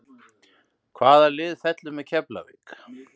Hvaða lið fellur með Keflavík?